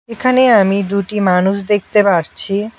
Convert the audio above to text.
এখানে আমি দুটি মানুষ দেখতে পারছি।